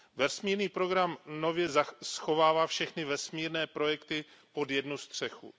Vesmírný program nově schovává všechny vesmírné projekty pod jednu střechu.